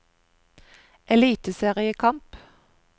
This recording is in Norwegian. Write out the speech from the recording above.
eliteseriekamp